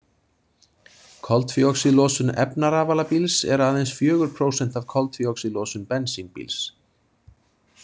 Koltvíoxíðlosun efnarafalabíls er aðeins fjögur prósent af koltvíoxíðlosun bensínbíls.